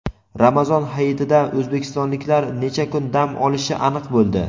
Ramazon hayitida o‘zbekistonliklar necha kun dam olishi aniq bo‘ldi.